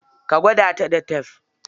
Ka gwada ta da tef?